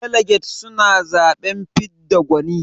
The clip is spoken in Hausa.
Daliget suna zaɓen fidda gwani.